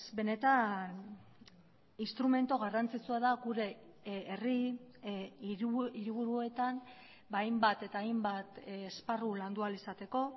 benetan instrumentu garrantzitsua da gure herri hiriburuetan ba hainbat eta hainbat esparru landu ahal izateko